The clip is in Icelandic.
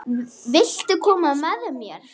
Viltu koma með mér?